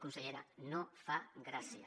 consellera no fa gràcia